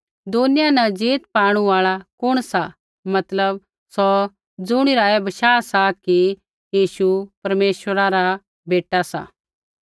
दुनिया न जीत पाणु आल़ा कुण सा मतलब सौ ज़ुणिरा ऐ बशाह सा कि यीशु परमेश्वरा रा बेटा सा